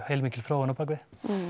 heilmikil þróun á bak við